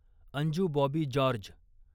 Anju Bobby George